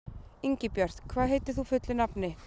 Ingibjört, hvað heitir þú fullu nafni?